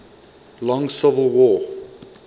long civil war